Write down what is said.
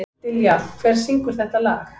Dilja, hver syngur þetta lag?